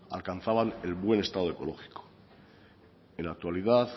alcanzaban el buen estado ecológico en la actualidad